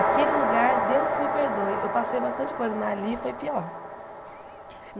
Aquele lugar, Deus que me perdoe, eu passei bastante coisa, mas ali foi pior.